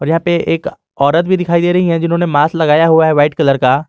यहां पे एक औरत भी दिखाई दे रही है जिन्होंने मास लगाया हुआ है वाइट कलर का।